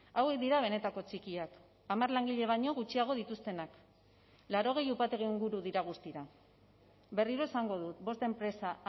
hauek dira benetako txikiak hamar langile baino gutxiago dituztenak laurogei upategi inguru dira guztira berriro esango dut bost enpresa